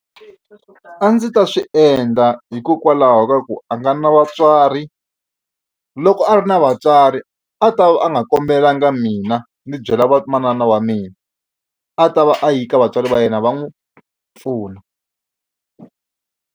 A ndzi ta swi endla hikokwalaho ka ku a nga na vatswari loko a ri na vatswari a ta va a nga kombelanga mina ndzi byela vamanana wa mina a ta va a yi ka vatswari va yena va n'wi pfuna.